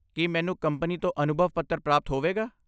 ਕੀ ਮੈਨੂੰ ਕੰਪਨੀ ਤੋਂ ਅਨੁਭਵ ਪੱਤਰ ਪ੍ਰਾਪਤ ਹੋਵੇਗਾ?